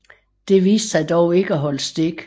Det viste sig dog ikke at holde stik